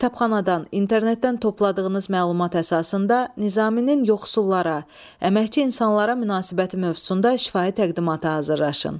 Kitabxanadan, internetdən topladığınız məlumat əsasında Nizaminin yoxsullara, əməkçi insanlara münasibəti mövzusunda şifahi təqdimatı hazırlaşın.